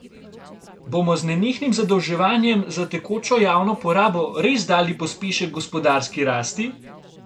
Bomo z nenehnim zadolževanjem za tekočo javno porabo res dali pospešek gospodarski rasti?